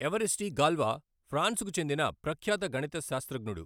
Evariste Galois ఫ్రాన్సుకు చెందిన ప్రఖ్యాత గణితశాస్త్రజ్ఞడు.